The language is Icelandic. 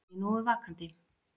Var ég nógu vakandi?